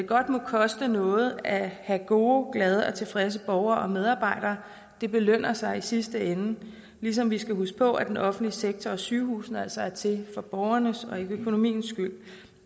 godt må koste noget at have gode glade og tilfredse borgere og medarbejdere det lønner sig i sidste ende ligesom vi skal huske på at den offentlige sektor og sygehusene altså er til for borgernes og ikke økonomiens skyld